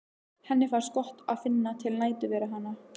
Henni finnst gott að finna til nærveru hennar.